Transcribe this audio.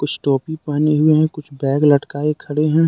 कुछ टोपी पहने हुए हैं कुछ बैग लटकाये खड़े है।